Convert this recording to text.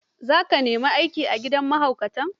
za ka nemi aiki a gidan mahaukata?